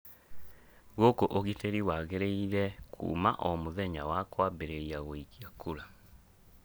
Gũkũ ũgitĩri wagĩrĩire kuma o mũthenya wa kwambĩrĩrria gũikia kũra